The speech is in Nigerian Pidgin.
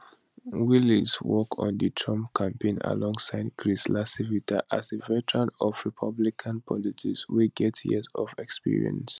wiles work on di trump campaign alongside chris lacivita a veteran of republican politics wey get years of experience